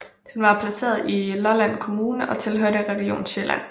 Den var placeret i Lolland Kommune og tilhørte Region Sjælland